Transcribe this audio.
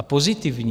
A pozitivní!